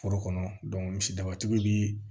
Foro kɔnɔ misidabatigi be